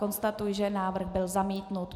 Konstatuji, že návrh byl zamítnut.